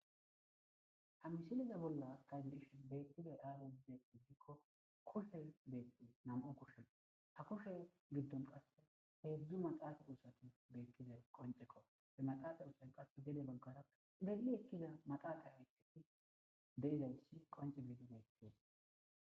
hamisiniza bolla taybirish beettida aarede iddikko kushe beetti nam7o kushe ha kushe giddon qasse heedzdzu maxaafadu usati beettida qoncekko he maxaaqa usay qae gede baggara belli ekkiza maxaaqa haytheti deizayssi qonce bidineettie